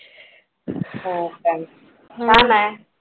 हो काय छान आहे.